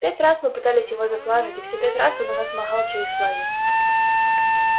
пять раз мы пытались его зафлажить и все пять раз он у нас махал через флаги